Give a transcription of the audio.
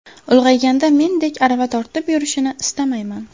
Ulg‘ayganda mendek arava tortib yurishini istamayman.